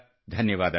ಧನ್ಯವಾದ